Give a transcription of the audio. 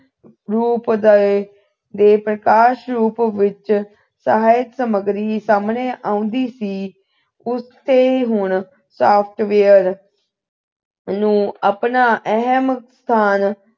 ਰੂਪ ਦੇ ਦੇ ਪ੍ਰਕਾਸ਼ ਰੂਪ ਵਿੱਚ ਸਾਹਿਤਕ ਸਮੱਗਰੀ ਸਾਹਮਣੇ ਆਉਂਦੀ ਸੀ ਉਸ ਦੇ ਗੁਣ software ਨੂੰ ਆਪਣਾ ਅਹਿਮ ਸਥਾਨ